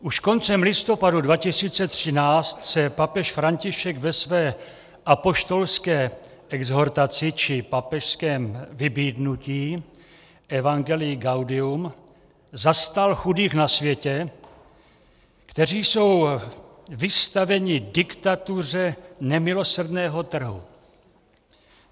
Už koncem listopadu 2013 se papež František ve své apoštolské exhortaci, či papežském vybídnutí, Evangelii gaudium zastal chudých na světě, kteří jsou vystaveni diktatuře nemilosrdného trhu.